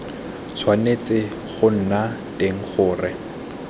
tshwanetse go nna teng gore